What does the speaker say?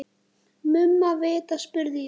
Mumma vita, spurði ég.